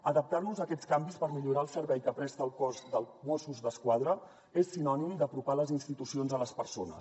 adaptar nos a aquests canvis per millorar el servei que presta el cos de mossos d’esquadra és sinònim d’apropar les institucions a les persones